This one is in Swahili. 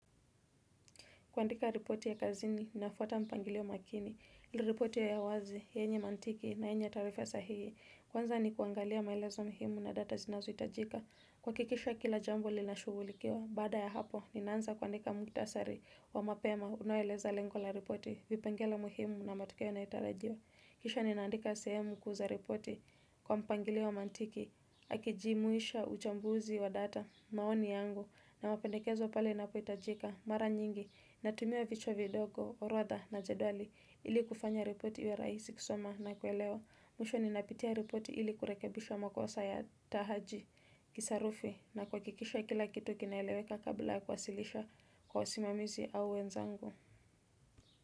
Kuandika ripoti ya kazini, ninafuata mpangilio makini. Liripoti ya ya wazi, yenye mantiki na yenye taarifa sahihi. Kwanza ni kuangalia maelezo muhimu na data zinazohitajika. Kuhakikisha kila jambo linashughulikiwa. Baada ya hapo, ninaanza kuandika mukhtasari wa mapema unaoeleza lengo la ripoti. Vipengele muhimu na matokeo yanayotarajiwa. Kisha ninaandika sehemu kuu za ripoti kwa mpangilio wa mantiki. Akijimuisha uchambuzi wa data maoni yangu na mapendekezo pale inapohitajika. Mara nyingi natumia vichwa vidogo, orodha na jedwali ili kufanya ripoti iwe rahisi kusoma na kuelewa. Mwisho ninapitia ripoti ili kurekebisha makosa ya tahaji kisarufi na kuhakikisha kila kitu kinaeleweka kabla kuwasilisha kwa wasimamizi au wenzangu.